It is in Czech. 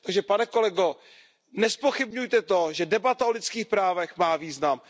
Pane kolego, nezpochybňujte to, že debata o lidských právech má význam.